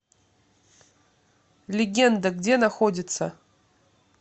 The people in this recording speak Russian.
легенда где находится